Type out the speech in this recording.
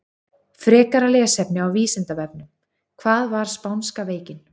Frekara lesefni á Vísindavefnum: Hvað var spánska veikin?